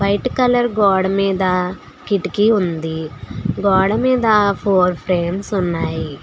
White colour గోడ మీద కిటికీ ఉంది గోడ మీద ఫోర్ ఫ్రేమ్స్ ఉన్నాయి.